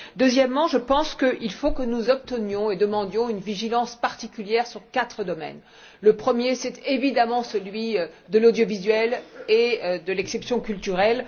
Deuxièmement, je pense qu'il faut que nous obtenions et demandions une vigilance particulière sur quatre domaines. Le premier, c'est évidemment celui de l'audiovisuel et de l'exception culturelle.